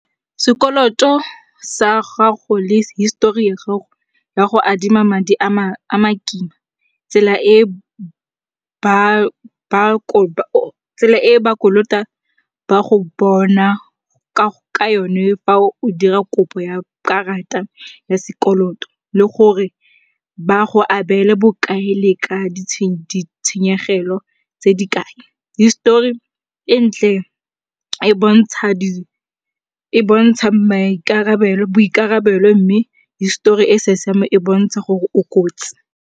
Sekoloto sa gago le histori ya gago ya go adima madi a makima, tsela e ba kolota ba go bona ka yone fa o dira kopo ya karata ya sekoloto le gore ba go abele bokae le ka ditshenyegelo tse di kae. Histori e ntle e bontsha boikarabelo mme histori e sa siamang e bontsha gore o kotsi.